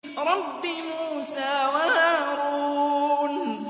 رَبِّ مُوسَىٰ وَهَارُونَ